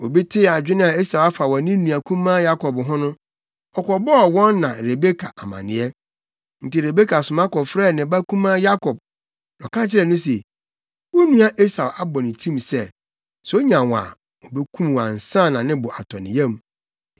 Obi tee adwene a Esau afa wɔ ne nua kumaa Yakob ho no, ɔkɔbɔɔ wɔn na Rebeka amanneɛ. Enti Rebeka soma kɔfrɛɛ ne ba kumaa Yakob, na ɔka kyerɛɛ no se, “Wo nua Esau abɔ ne tirim sɛ, sɛ onya wo a, obekum wo ansa na ne bo atɔ ne yam.